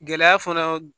Gɛlɛya fana